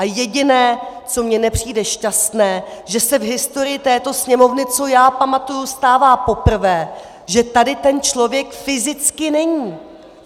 A jediné, co mi nepřijde šťastné, že se v historii této Sněmovny, co já pamatuji, stává poprvé, že tady ten člověk fyzicky není.